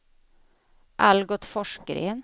Algot Forsgren